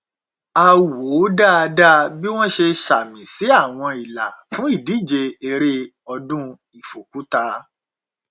a wò dáadáa bí wọn ṣe ṣàmì sí àwọn ìlà fún ìdíje eré ọdún ìfòkúta